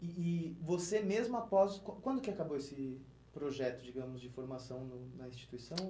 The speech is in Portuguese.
E e você mesmo após... Quan quando que acabou esse projeto, digamos, de formação na instituição?